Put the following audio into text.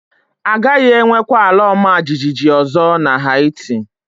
A gaghị enwekwa ala ọma jijiji ọzọ na Heti